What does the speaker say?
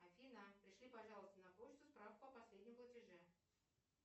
афина пришли пожалуйста на почту справку о последнем платеже